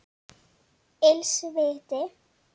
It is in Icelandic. Ills viti